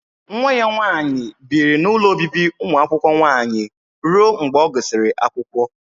Nwa ya nwaanyị biri n'ụlọ obibi ụmụ akwụkwọ nwaanyị ruo mgbe ọ gụsịrị akwụkwọ.